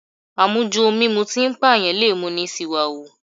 Àmujù ohun mímu tí ń pàyàn lè mú ni ṣìwàhù